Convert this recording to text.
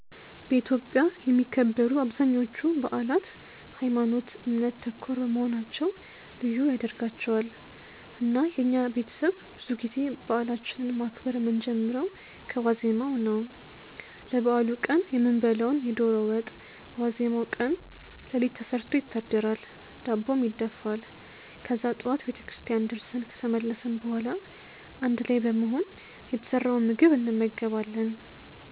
በኢትዮጵያ የሚከበሩ አብዛኞቹ በአላት ሀይማኖት ( እምነት) ተኮር መሆናቸው ልዩ ያደርጋቸዋል። እና የኛ ቤተሰብ ብዙ ጊዜ በአላችንን ማክበር የምንጀምረው ከዋዜማው ነው። ለበአሉ ቀን የምንበላውን የዶሮ ወጥ በዋዜማው ቀን ሌሊት ተሰርቶ ይታደራል፤ ዳቦም ይደፋል። ከዛ ጠዋት ቤተክርስቲያን ደርሰን ከተመለስን በኋላ አንድ ላይ በመሆን የተሰራውን ምግብ እንመገባለን።